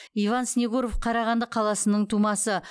иван снегуров қарағанды қаласының тумасы